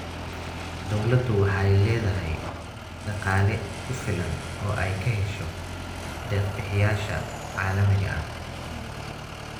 Dawladdu waxay la�dahay dhaqaale ku filan oo ay ka hesho deeq-bixiyayaasha caalamiga ah.